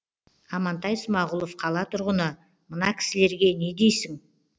амантай смағұлов қала тұрғыны мына кісілерге не дейсің